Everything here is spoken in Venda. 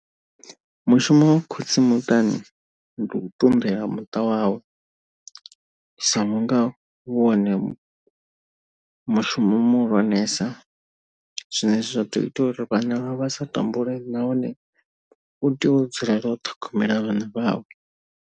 Mushumo wa khotsi muṱani ndi u ṱunḓela muṱa wawe, sa vhunga u wone mushumo muhulwanesa. Zwine zwa ḓo ita uri vhana vha sa tambule nahone u tea u dzulela u ṱhogomela vhana vhawe.